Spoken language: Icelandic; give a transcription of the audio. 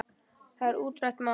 Það er útrætt mál.